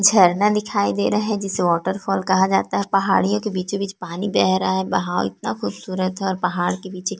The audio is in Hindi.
झरना दिखाई दे रहा है जिसे वॉटरफॉल कहा जाता है पहाड़ियों के बीच पानी बह रहा है बहाव इतना खूबसूरत है और पहाड़ के पीछे --